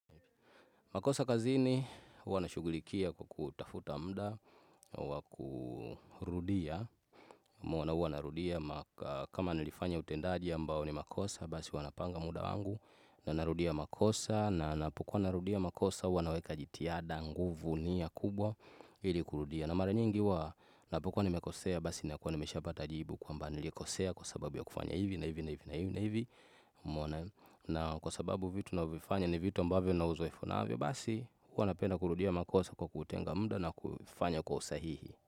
Makosa kazini, huwa nashugulikia kwa kutafuta mda, wa kurudia, maana huwa narudia, kama nilifanya utendaji ambao ni makosa, basi huwa napanga mda wangu, na narudia makosa, na napokuwa narudia makosa, huwa naweka jitihada nguvu ni ya kubwa ili kurudia. Na mara nyingi huwa napokuwa nimekosea basi nakuwa nimeshapata jibu kwamba nilikosea kwa sababu ya kufanya hivi na hivi na hivi na hivi na hivi maana na kwa sababu vitu navyofanya ni vitu ambavyo nina uzoefu navyo basi huwa napenda kurudia makosa kwa kutenga mda na kufanya kwa usahihi.